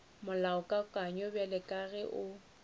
molaokakanywa bjalo ka ge o